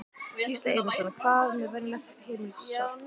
Gísli Einarsson: Hvað með venjulegt heimilissorp?